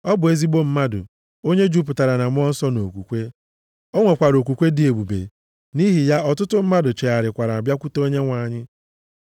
Ọ bụ ezigbo mmadụ, onye jupụtara na Mmụọ Nsọ na okwukwe. O nwekwara okwukwe dị ebube, nʼihi ya ọtụtụ mmadụ chegharịkwara bịakwute Onyenwe anyị.